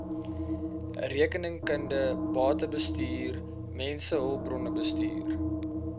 rekeningkunde batebestuur mensehulpbronbestuur